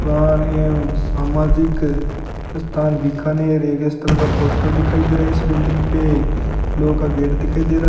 और ये सामाजिक स्थान बीकानेर एक इस तरह का पोस्टर दिखाई दे रहा है इस बिल्डिंग पे लोह का गेट दिखाई दे रहा --